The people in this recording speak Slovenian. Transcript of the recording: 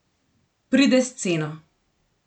Pride s ceno.